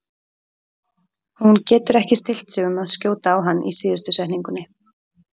Hún getur ekki stillt sig um að skjóta á hann í síðustu setningunni.